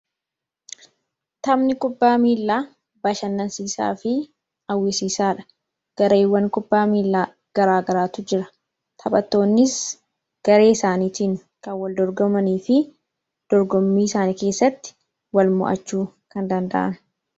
Taphni kubbaa miilaa bashannansiisaa fi hawwisiisaadha. Gareewwan kubbaa miilaa garaagaraatu jira. Taphattoonnis garee isaaniitiin kan wal dorgomanii fi dorgommii isaanii keessatti walmo'achuu kan danda'an.